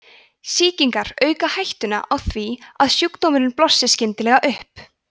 sýkingar auka hættuna á því að sjúkdómurinn blossi skyndilega upp